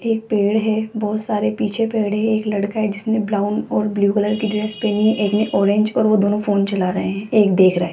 एक पेड़ है बहुत सारे पीछे पेड़े है एक लड़का है जिसने ब्राउन और ब्लू कलर की ड्रेस पहनी है एक ने ऑरेंज और वो दोनों फोन चला रहे हैं एक देख रहा है।